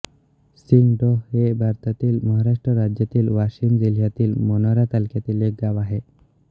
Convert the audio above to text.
सिंगडोह हे भारतातील महाराष्ट्र राज्यातील वाशिम जिल्ह्यातील मानोरा तालुक्यातील एक गाव आहे